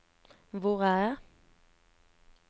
hvor er jeg